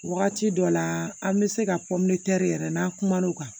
Wagati dɔ la an bɛ se ka yɛrɛ n'an kumano kan